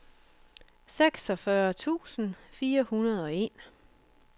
seksogfyrre tusind fire hundrede og en